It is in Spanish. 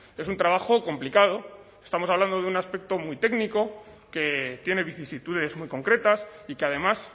es un trabajo complicado estamos hablando de un aspecto muy técnico que tiene vicisitudes muy concretas y que además